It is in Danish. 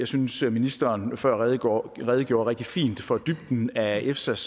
synes at ministeren før redegjorde redegjorde rigtig fint for dybden af efsas